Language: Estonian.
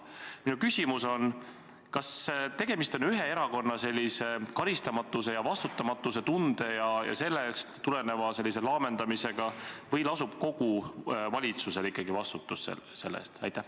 Minu küsimus on: kas tegemist on ühe erakonna sellise karistamatuse ja vastutamatuse tunde ja sellest tuleneva laamendamisega või lasub ikkagi kogu valitsusel vastutus selle eest?